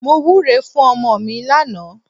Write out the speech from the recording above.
Mo wúre fún ọmọ mi lánàá.